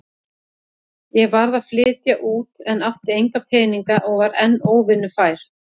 Ég varð að flytja út en átti enga peninga og var enn óvinnufær.